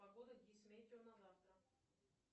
погода гисметео на завтра